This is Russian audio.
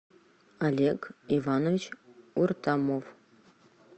олег иванович уртамов